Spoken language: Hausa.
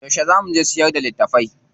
Yauce zaa mu je mu siyar da litattafai?